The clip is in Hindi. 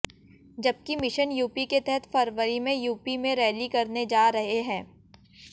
जबकि मिशन यूपी के तहत फरवरी में यूपी में रैली करने जा रहे है